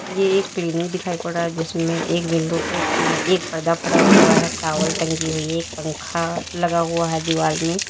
ये एक क्लीनिक दिखाई पड़ रहा जिसमें एक विंडो पे अं एक पर्दा पड़ा हुआ है टॉवल टंगी हुई है एक पंखा लगा हुआ है दीवाल में--